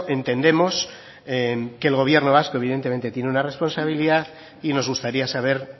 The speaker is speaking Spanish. entendemos que el gobierno vasco evidentemente tiene una responsabilidad y nos gustaría saber